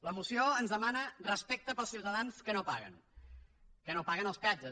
la moció ens demana respecte pels ciutadans que no paguen que no paguen els peatges